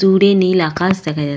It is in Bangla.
দূরে নীল আকাশ দেখা যাচ --